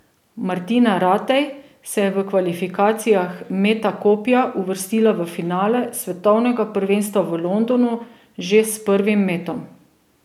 Martina Ratej se je v kvalifikacijah meta kopja uvrstila v finale svetovnega prvenstva v Londonu že s prvim metom.